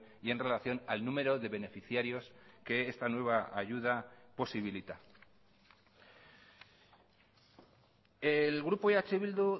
y en relación al número de beneficiarios que esta nueva ayuda posibilita el grupo eh bildu